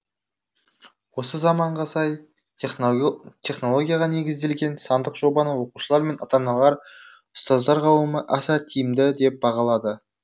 осы заманға сай технологияға негізделген сандық жобаны оқушылар мен ата аналар ұстаздар қауымы аса тиімді деп бағалады